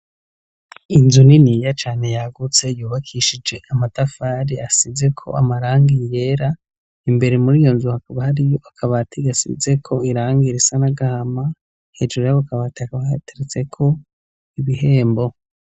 Inzu niniya cane yagutse, yubakishije amatafari asizeko amarangi yera, imbere muri iyo nzu hakaba hariyo akabati gasizeko irangi risa n'agahama, hejuru y'ako kabati hakaba hateretseko ibihembo.